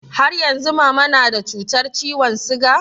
Har yanzu mama na da cutar ciwon siga?